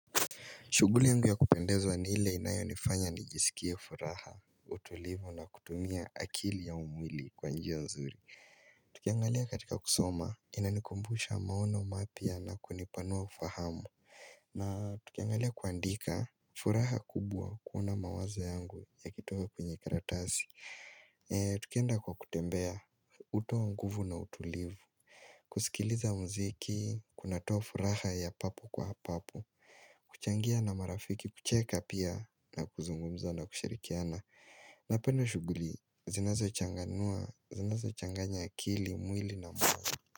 Shughuli yangu ya kupendezwa ni ile inayonifanya nijisikie furaha, utulivu na kutumia akili au mwili kwa njia nzuri Tukiangalia katika kusoma inanikumbusha maono mapya na kunipanua kufahamu na tukiangalia kuandika furaha kubwa kuona mawazo yangu yakitoka kwenye karatasi tukienda kwa kutembea hutoa nguvu na utulivu kusikiliza mziki, kunatoa furaha ya papo kwa papo kuchangia na marafiki, kucheka pia na kuzungumza na kushirikiana Napenda shughuli, zinazochanganua, zinazochanganya akili, mwili na mwili.